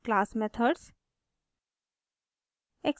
class methods class methods